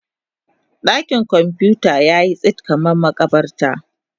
Dakin kwamfuta yayi tsit kamar makabarta.